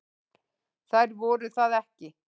Þær voru það ekki.